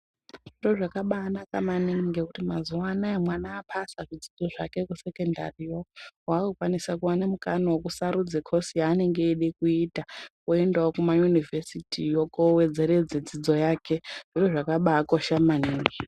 Zviro zvakabaanaka maningi ngekuti mazuwaanaya, mwana aphasa zvidzidzo zvake kusekendariyo ,,waakukwanisa kuwana mukana wekusarudza khosi yaanenge eide kuita, oendawo kuma inivhesiti yo kowedzeredze dzidzo yake .Zviro zvakabaakosha maningi.